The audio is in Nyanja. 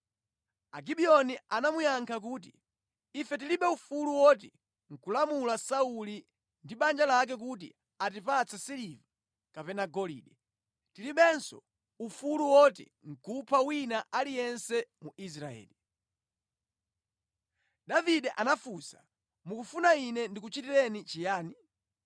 Agibiyoni anamuyankha kuti, “Ife tilibe ufulu woti nʼkulamula Sauli ndi banja lake kuti atipatse siliva kapena golide, tilibenso ufulu woti nʼkupha wina aliyense mu Israeli.” Davide anafunsa, “Mukufuna ine ndikuchitireni chiyani?”